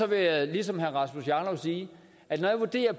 vil jeg ligesom herre rasmus jarlov sige at når jeg vurderer